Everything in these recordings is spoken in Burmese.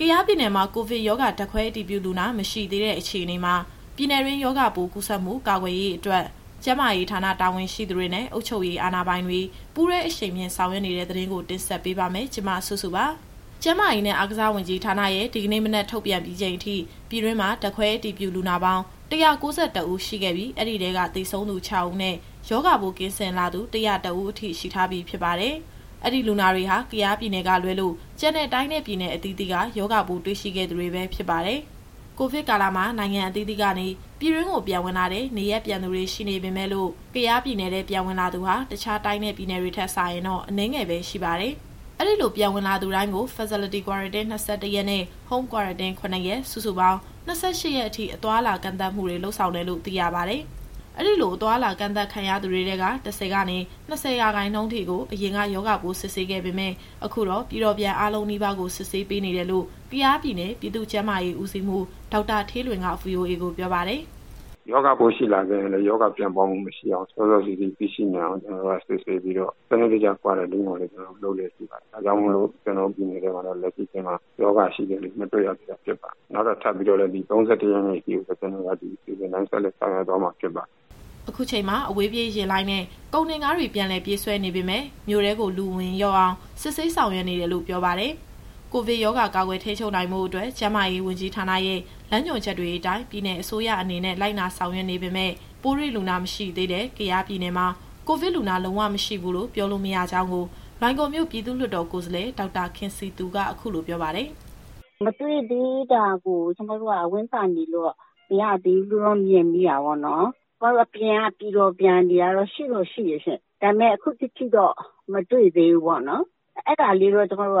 ကယားပြည်နယ်မှာ ကိုဗစ်ရောဂါ ဓာတ်ခွဲအတည်ပြုလူနာ မရှိသေးတဲ့အခြေအနေမှာ ပြည်နယ်တွင်းရောဂါပိုးကူးစက်မှုကာကွယ်ရေးအတွက် ကျန်းမာရေးဌာနတာဝန်ရှိသူတွေနဲ့ အုပ်ချုပ်ရေးအာဏာပိုင်တွေ ပူးတွဲအရှိန်မြှင့်ဆောင်ရွက်နေတဲ့ သတင်းကို မစုစု တင်ဆက်ပေးပါမယ်။ ကျန်းမာရေးနဲ့အားကစားဝန်ကြီးဌာနရဲ့ဒီကနေ့မနက်ထုတ်ပြန်ပြီးချိန်အထိ ပြည်တွင်းမှာ ဓာတ်ခွဲအတည်ပြုလူနာပေါင်း ၁၉၁ဦး ရှိခဲ့ပြီး အဲဒီထဲက သေဆုံးသူ ၆ဦးနဲ့ ရောဂါပိုးကင်းစင်လာသူ ၁၀၁ဦးအထိ ရှိထားပြီးဖြစ်ပါတယ်။ အဲဒီလူနာတွေဟာ ကယားပြည်နယ်ကလွဲလို့ ကျန်တဲ့တိုင်းနဲ့ ပြည်နယ်အသီးသီးက ရောဂါပိုးတွေ့ရှိခဲ့သူတွေပဲ ဖြစ်ပါတယ်။ ကိုဗစ်ကာလမှာ နိုင်ငံအသီးသီးကနေ ပြည်တွင်းကိုပြန်ဝင်လာတဲ့ နေရပ်ပြန်သူတွေရှိပေမယ့်လို့ ကယားပြည်နယ်ထဲပြန်ဝင်လာသူဟာ တခြားတိုင်းနဲ့ ပြည်နယ်တွေထက်စာရင်တော့ အနည်းငယ်ပဲရှိပါတယ်။ အဲဒီလိုပြန်ဝင်လာသူတိုင်းကို Facility Quarantine ၂၁ရက်နဲ့ Home Quarantine ၇ရက် စုစုပေါင်း ၂၈ရက်အထိ အသွားအလာကန့်သတ်မှုတွေ လုပ်ဆောင်တယ်လို့ သိရပါတယ်။ အဲဒီလိုအသွားအလာကန့်သတ်ခံထားရသူတွေထဲက ၁၀ကနေ ၂၀ရာခိုင်နှုန်းထိကို အရင်ကရောဂါပိုးစစ်ဆေးခဲ့ပေမယ့် အခုတော့ ပြည်တော်ပြန်အားလုံးနီးပါးကို စစ်ဆေးပေးနေတယ်လို့ ကယားပြည်နယ် ပြည်သူ့ကျန်းမာရေးဦးစီးမှူး ဒေါက်တာဌေးလွင်က VOAကိုပြောပါတယ်။ “ရောဂါပိုးရှိလာခဲ့ရင်လည်း ရောဂါပြန့်ပွားမှုမရှိအောင် စောစောစီးစီးသိရှိနိုင်အောင် ကျတော်တို့က စစ်ဆေးပြီးတော့ စနစ်တကျ Quarantine ကိုလည်း လုပ်လျက်ရှိပါတယ်။ ဒါကြောင့်မို့ ကျတော်တို့ပြည်နယ်ထဲမှာတော့ လက်ရှိအချိန်မှာ ရောဂါရှိတဲ့သူမတွေ့ရသေးတာ ဖြစ်ပါတယ်။ နောက်ထပ် ဒီ ၃၁ရက်နေ့ အထိကို ဒီအစီအစဉ်တိုင်း ဆက်လက်ဆောင်ရွက်သွားမှာဖြစ်ပါတယ်။” အခုချိန်မှာ အဝေးပြေးယာဉ်လိုင်းနဲ့ ကုန်တင်ကားတွေ ပြန်လည်ပြေးဆွဲနေပေမယ့် မြို့ထဲကို လူအဝင်လျှော့အောင် စစ်ဆေးဆောင်ရွက်နေတယ်လို့ ပြောပါတယ်။ ကိုဗစ်ရောဂါကာကွယ်ထိန်းချုပ်ဖို့အတွက် ကျန်းမာရေးဝန်ကြီးဌာနရဲ့ လမ်းညွှန်ချက်တွေအတိုင်း ပြည်နယ်အစိုးရအနေနဲ့ လိုက်နာဆောင်ရွက်နေပေမယ့် ပိုးတွေ့လူနာမတွေ့သေးတဲ့ ကယားပြည်နယ်မှာ ကိုဗစ်လူနာလုံးဝမရှိဘူးလို့ ပြောလို့မရကြောင်းကို လွိုင်ကော်မြို့ပြည်သူ့လွှတ်တော်ကိုယ်စားလှယ် ဒေါက်တာခင်စည်သူက အခုလိုပြောပါတယ်။ “မတွေ့သေးတာကို ကျမတို့ကဝမ်းသာနေလို့ မရသေးဘူးလို့တော့ ကျမမြင်မိတာပေါ့နော်။ ကျမတို့အပြင်က ပြည်တော်ပြန်တွေကတော့ ရှိတော့ရှိတယ်ရှင့်။ ဒါပေမယ့် ခုထက်ထိတော့ (အတည်ပြုလူနာ) မတွေ့သေးဘူးပေါ့နော်။ အဲဒါလေးတော့ ကျမတို့က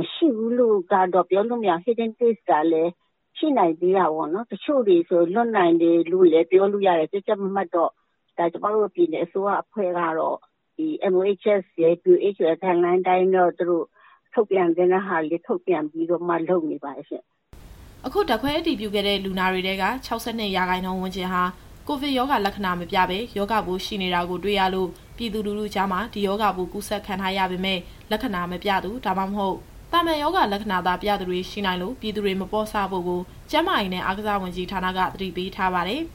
မရှိဘူးလို့တော့ ပြောလို့မရဘူး။ Hidden Case ကလည်း ရှိနိုင်သေးတာပေါ့နော်။ တချို့တွေဆိုရင် လွတ်နိုင်တယ်လို့လည်း ပြောလို့ရတယ်။ ကြပ်ကြပ်မတ်မတ်တော့ ကျမတို့ပြည်နယ်အဖွဲ့ကတော့ ဒီMOHS ရယ် WHO ရယ် Guideline အတိုင်းတော့ ထုတ်ပြန်သင့်တာတွေ ထုတ်ပြန်ပြီးတော့မှ လုပ်နေပါတယ်ရှင့်။” အခုဓာတ်ခွဲအတည်ပြုခဲ့တဲ့ လူနာတွေထဲက ၆၂ရာခိုင်နှုန်းဝန်းကျင်ဟာ ကိုဗစ်ရောဂါလက္ခဏာမပြဘဲ ရောဂါပိုးရှိနေတာကို တွေ့ရလို့ ပြည်သူလူထုကြားမှာ ဒီရောဂါပိုးကူးစက်ခံထားရပေမယ့် လက္ခဏာမပြသူ ဒါမှမဟုတ် သာမန်ရောဂါလက္ခဏာသာပြသူတွေ ရှိနိုင်လို့ ပြည်သူတွေမပေါ့ဆဖို့ကို ကျန်းမာရေးနဲ့ အားကစားဝန်ကြီးဌာနက သတိပေးထားပါတယ်။